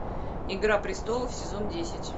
игра престолов сезон десять